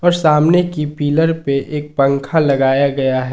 और सामने की पिलर पे एक पंखा लगाया गया है।